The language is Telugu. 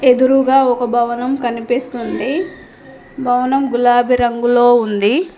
ఎదురుగా ఒక భవనం కనిపిస్తుంది భవనం గులాబీ రంగులో ఉంది.